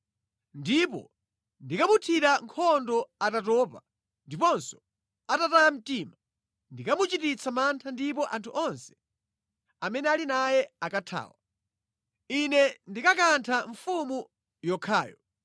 Ndipo ndikamuthira nkhondo atatopa ndiponso atataya mtima. Ndikamuchititsa mantha ndipo anthu onse amene ali naye akathawa. Ine ndikakantha mfumu yokhayo,